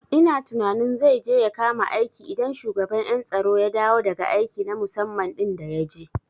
Ina tunanin zai je ya kama aiki idan shugaban ƴan tsaro ya dawo daga aiki na musamman ɗin da yaje